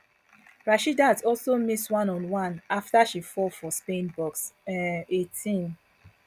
rasheedat also miss one on one afta she fall for spain box um eighteen